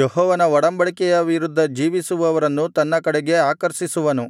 ಯೆಹೋವನ ಒಡಂಬಡಿಕೆಯ ವಿರುದ್ಧ ಜೀವಿಸುವವರನ್ನು ತನ್ನ ಕಡೆಗೆ ಆಕರ್ಷಿಸುವನು